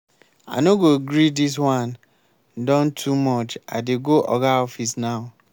i no go gree dis wan don too much i dey go oga office now.